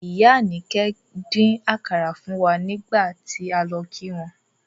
Ìyá Anike dín àkàrà fún wa nígbà tí a lọ kí wọn.